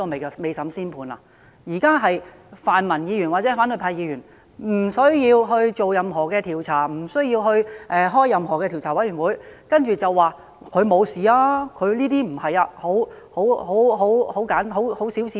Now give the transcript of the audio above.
現在是泛民或反對派議員說不需要進行任何調查，不需要成立任何調查委員會，便說他沒有犯事，他沒有行為不檢，而只是很小事。